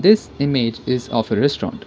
this image is of a restaurant.